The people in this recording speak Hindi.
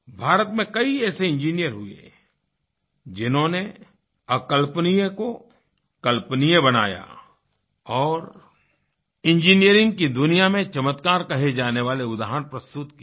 भारत में कई ऐसे इंजीनियर हुये जिन्होनें अकल्पनीय को कल्पनीय बनाया और इंजीनियरिंग की दुनिया में चमत्कार कहे जाने वाले उदाहरण प्रस्तुत किए हैं